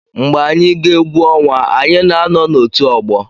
Mgbe anyị gaa egwu ọnwa, anyị na-anọ n'otù ọgbọ.